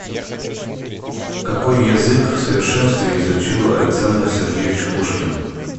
какой язык в совершенстве изучил александр сергеевич пушкин